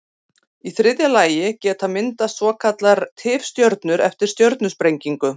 Í þriðja lagi geta myndast svokallaðar tifstjörnur eftir stjörnusprengingu.